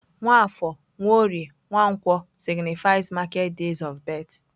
Nwafor, Nworie, Nwankwo signifies market days of birth.